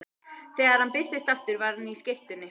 Þegar hann birtist aftur var hann á skyrtunni.